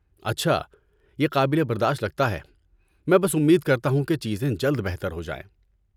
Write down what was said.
اچھا، یہ قابل برداشت لگتا ہے۔ میں بس امید کرتا ہوں کہ چیزیں جلد بہتر ہو جائیں۔